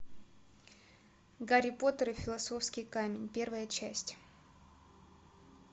гарри поттер и философский камень первая часть